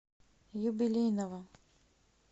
юбилейного